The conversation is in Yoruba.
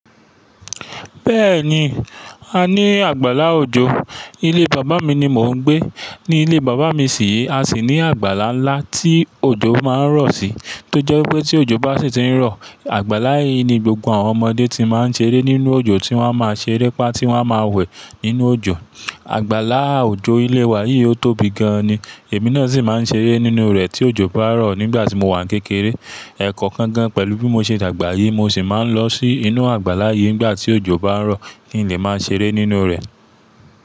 Bẹ́ẹ̀ni, a ní àgbàlá òjò. Ilé bàbá mi ni mò ń gbé. Ní ilé bàbá mi sì re, a sì ní àgbàlá ńlá tí òjò máa ń rọ̀ sí. Tó jẹ́ wípé tí òjò bá sì ti ń rọ̀, àgbàlá yìí ni gbogbo àwọn ọmọdé ti máa ń ṣeré nínú òjò, tí wọ́n a máa ṣeré pá tí wọ́n a máa wẹ̀ nínú òjò. Àgbàlá òjò ilé wa yìí ó tóbi gan-an ni. Èmi náà sì máa ń ṣeré nínú rẹ̀ tí òjò bá rọ̀ nígbà tí mo wà ní kékeré. Ẹ̀kọọkankan gan pẹ̀lú bí mo ṣe dàgbà yìí, mo sì máa ń lọ sí inú àgbàlá yìí nígbà tí òjò bá ń rọ̀ kí n lè máa ṣeré nínú rẹ̀.